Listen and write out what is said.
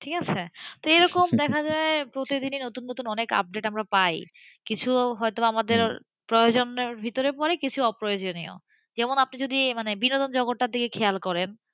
তো ঠিক আছে এরকম দেখা যায় প্রতিদিনই অনেক নতুন নতুন আপডেট আমরা পাইকিছু প্রয়োজনের ভেতরে পড়ে কিছু অপ্রয়োজনীয়যেমন আপনি যদি বিনোদন জগতের দিকে খেয়াল করেন,